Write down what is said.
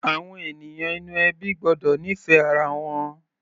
Àwọn ènìyàn inú ẹbí gbọ́dọ̀ nífẹ̀ẹ́ ara wọn.